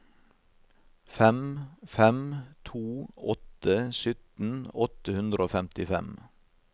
fem fem to åtte sytten åtte hundre og femtifem